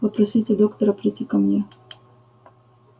попросите доктора прийти ко мне